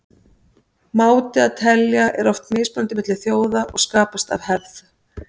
máti að telja er oft mismunandi milli þjóða og skapast af hefð